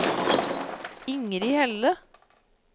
Ingrid Helle